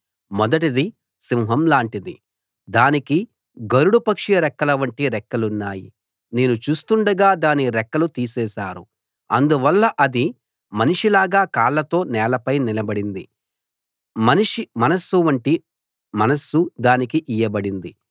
మొదటిది సింహం లాటిది దానికి గరుడ పక్షి రెక్కలవంటి రెక్కలున్నాయి నేను చూస్తుండగా దాని రెక్కలు తీసేశారు అందువల్ల అది మనిషి లాగా కాళ్ళతో నేలపై నిలబడింది మనిషి మనస్సు వంటి మనస్సు దానికి ఇయ్యబడింది